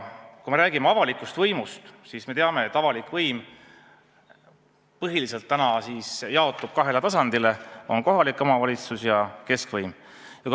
Kui me räägime avalikust võimust, siis me teame, et avalik võim täna jaotub põhiliselt kahe tasandi vahel: on kohalik omavalitsus ja keskvõim.